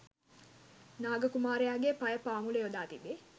නාග කුමාරයාගේ පය පාමුල යොදා තිබේ.